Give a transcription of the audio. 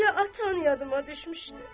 Elə atam yadıma düşmüşdü.